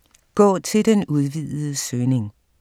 Gå til den udvidede søgning